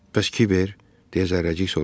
Bəs Kiber, deyə Zərrəcik soruşdu.